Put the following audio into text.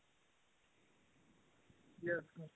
yes sir